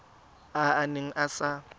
a a neng a sa